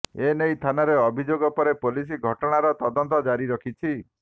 ଏନେଇ ଥାନାରେ ଅଭିଯୋଗ ପରେ ପୋଲିସ ଘଟଣାର ତଦନ୍ତ ଜାରି ରଖିଛି